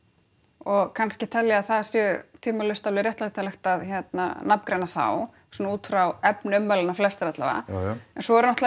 og kannski tel ég að það sé tvímælalaust alveg réttlætanlegt að nafngreina þá svona út frá efni ummælanna flestra alla vega en svo náttúrulega